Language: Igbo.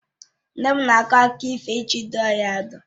Nne m na - akọ akụkọ ifo iji dùọ anyị ọdu